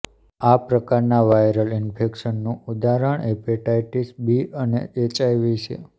આ પ્રકારનાં વાયરલ ઇન્ફેક્શનનું ઉદાહરણ હીપેટાઇટિસ બી અને એચઆઇવી છે